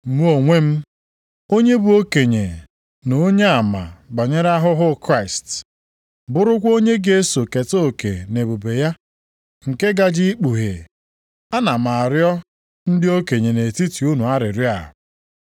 Mụ onwe m, onye bụ okenye na onyeama banyere ahụhụ Kraịst, bụrụkwa onye ga-eso keta oke nʼebube ya nke a gaje ikpughe, a na m arịọ ndị okenye nʼetiti unu arịrịọ a,